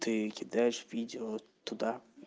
ты кидаешь видео туда